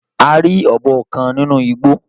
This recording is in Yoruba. A ri ọbọ kan ninu igbo.